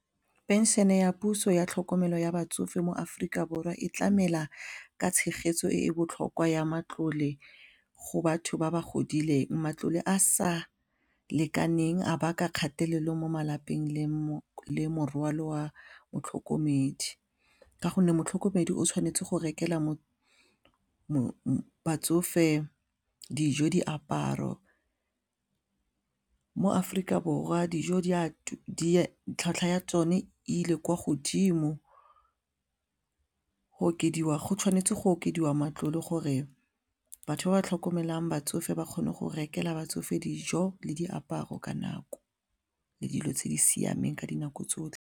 Pension ya puso ya tlhokomelo ya batsofe mo Aforika Borwa e tlamela ka tshegetso e e botlhokwa ya matlole go batho ba ba godileng matlole a sa lekaneng a baka kgatelelo mo malapeng le morwalo motlhokomedi ka gonne motlhokomedi o tshwanetse go rekelwa batsofe dijo, diaparo, mo Aforika Borwa dijo tlhwatlhwa ya tsone ile kwa godimo go tshwanetse go okediwa matlole gore batho ba ba tlhokomelang batsofe ba kgone go rekela batsofe dijo le diaparo ka nako le dilo tse di siameng ka dinako tsotlhe.